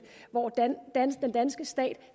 hvor den danske stat